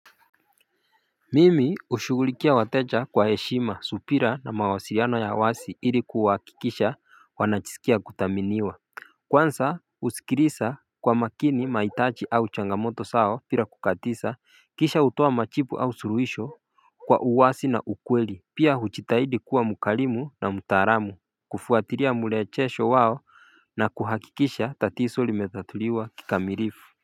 Mimi ushugulikia wateja kwa heshima supira na mawasiriano ya wasi ilikuwa hakikisha wanachisikia kuthaminiwa Kwansa usikilisa kwa makini maitachi au changamoto sawo pira kukatisa kisha utoa machipu au suruhisho kwa uwasi na ukweli pia huchitahidi kuwa mukalimu na mutaalamu Kufuatiria mulechesho wao na kuhakikisha tatiso limetatuliwa kika mirifu.